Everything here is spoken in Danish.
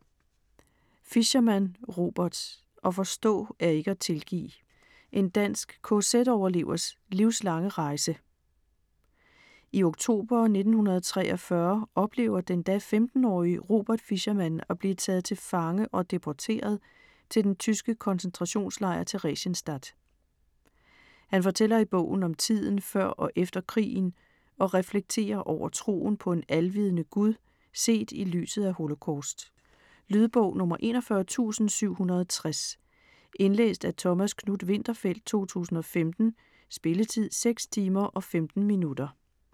Fischermann, Robert: At forstå er ikke at tilgive: en dansk kz-overlevers livslange rejse I oktober 1943 oplever den da 15-årige Robert Fischermann at blive taget til fange og deporteret til den tyske koncentrationslejr Theresienstadt. Han fortæller i bogen om tiden før og efter krigen og reflekterer over troen på en alvidende Gud set i lyset af holocaust. Lydbog 41760 Indlæst af Thomas Knuth-Winterfeldt, 2015. Spilletid: 6 timer, 15 minutter.